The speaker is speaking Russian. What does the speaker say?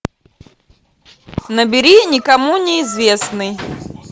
набери никому неизвестный